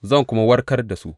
Zan kuma warkar da su.